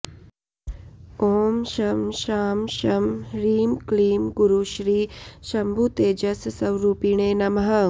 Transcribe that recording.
ॐ शं शां षं ह्रीं क्लीं गुरुश्री शम्भुतेजस्स्वरूपिणे नमः